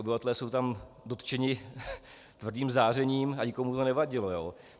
Obyvatelé jsou tam dotčeni tvrdým zářením a nikomu to nevadilo.